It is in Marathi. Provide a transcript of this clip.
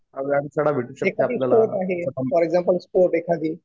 याच्यातही स्पोर्ट आहे. फॉर एक्झाम्पल स्पोर्ट एखादी